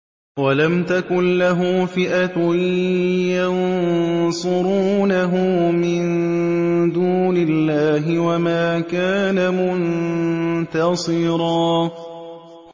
وَلَمْ تَكُن لَّهُ فِئَةٌ يَنصُرُونَهُ مِن دُونِ اللَّهِ وَمَا كَانَ مُنتَصِرًا